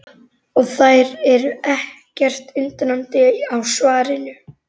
Og þær eru ekkert undrandi á svarinu.